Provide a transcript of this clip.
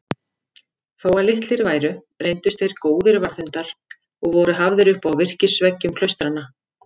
Þótt litlir væru reyndust þeir góðir varðhundar og voru hafðir upp á virkisveggjum klaustranna.